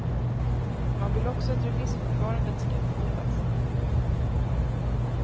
Man vill också att remissförfarandet skall behållas.